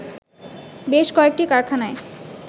বেশ কয়েকটি কারখানায়